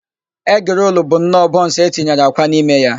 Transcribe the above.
Egịrolu bụnọọ bọnsụ e tinyere akwa n'ime ya.